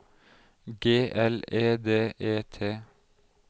G L E D E T